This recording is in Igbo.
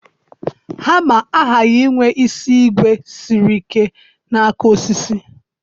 Hama aghaghị inwe isi ígwè siri ike na aka osisi